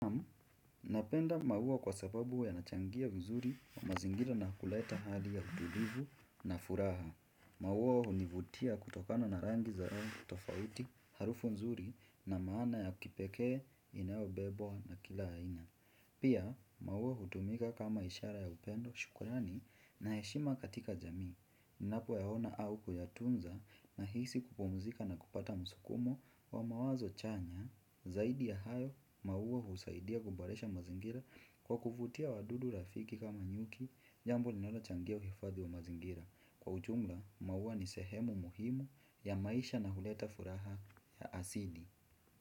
Napenda maua kwa sababu yanachangia vizuri kwa mazingira na kuleta hali ya utulivu na furaha. Maua hunivutia kutokana na rangi zao kutofauti harufu nzuri na maana ya kipekee, inaobebwa na kila aina. Pia, maua hutumika kama ishara ya upendo shukrani na heshima katika jamii. Ninapo yaona au kuyatunza nahisi kupumzika na kupata msukumo wa mawazo chanya. Zaidi ya hayo, maua husaidia kuboresha mazingira kwa kuvutia wadudu rafiki kama nyuki. Jambo linalo changia uhifadhi wa mazingira. Kwa ujumla, maua ni sehemu muhimu ya maisha na huleta furaha ya asidi.